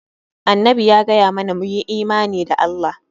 Annabi ya gaya mana mu yi imani da Allah.